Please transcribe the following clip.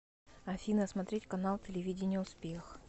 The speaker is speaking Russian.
афина смотреть канал телевидения успех